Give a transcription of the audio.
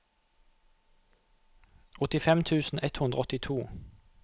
åttifem tusen ett hundre og åttito